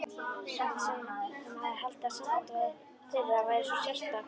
Hann sem hafði haldið að samband þeirra væri svo sérstakt.